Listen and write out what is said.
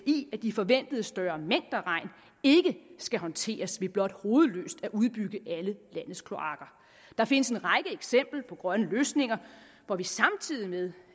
i at de forventede større mængder regn ikke skal håndteres ved blot hovedløst at udbygge alle landets kloakker der findes en række eksempler på grønne løsninger hvor vi samtidig med